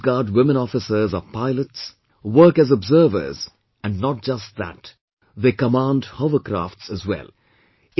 Our Coast Guard women officers are pilots, work as Observers, and not just that, they command Hovercrafts as well